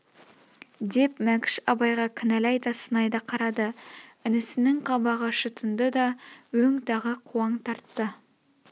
деп мәкш абайға кінәлай да сынай да қарады інісінің қабағы шытынды да өң тағы қуаң тартты